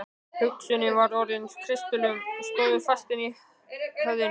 Hugsunin var orðin að kristöllum sem stóðu fastir í höfðinu.